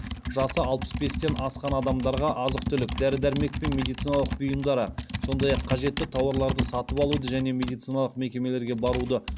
жасы алпыс бестен асқан адамдарға азық түлік дәрі дәрмек пен медициналық бұйымдары сондай ақ қажетті тауарларды сатып алуды және медициналық мекемелерге баруды